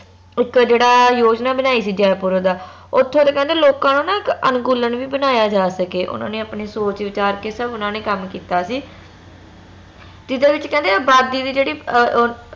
ਇਕ ਆ ਜਿਹੜਾ ਯੋਜਨਾ ਬਣਾਈ ਸੀ ਜੈਪੁਰ ਦਾ ਓਥੋਂ ਦਾ ਕਹਿੰਦੇ ਲੋਕਾਂ ਨੂੰ ਨਾ ਇਕ ਅਨੁਕੂਲਣ ਵੀ ਬਨਾਯਾ ਜਾ ਸਕੇ ਓਨਾ ਨੇ ਆਪਣੇ ਸੋਚ ਵਿਚਾਰ ਕੇ ਸਬ ਕੰਮ ਕੀਤਾ ਸੀ ਜਿਹਦੇ ਵਿਚ ਕਹਿੰਦੇ ਅਬਾਦੀ ਦੀ ਜਿਹੜੀ ਅਹ ਅਹ